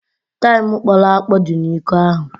Taịm kpọrọ akpọ dị n'iko ahụ.